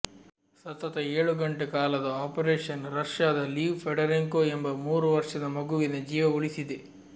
ಸತತ ಏಳು ಗಂಟೆ ಕಾಲದ ಆಪರೇಷನ್ ರಷ್ಯಾದ ಲೀವ್ ಫೆಡರೆಂಕೊ ಎಂಬ ಮೂರು ವರ್ಷದ ಮಗುವಿನ ಜೀವ ಉಳಿಸಿದೆ